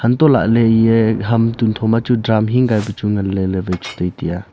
anto lah ley eye hm tuntho machu drum hin kai pechu ngan ley ley waich tai tiya.